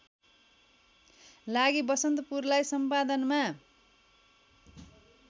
लागि बसन्तपुरलाई सम्पादनमा